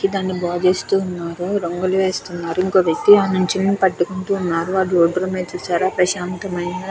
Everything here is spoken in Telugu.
దాని బాగిస్తూ ఉన్నారు రంగులు వేస్తూ ఉన్నారు ఇంకో వ్యక్తి నించొని పట్టుకొని ఉన్నారు రోడ్లు మీద చూసారా ప్రశాంతమైన --